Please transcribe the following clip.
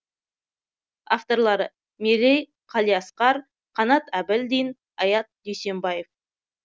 авторлары мерей қалиасқар қанат әбілдин аят дүйсембаев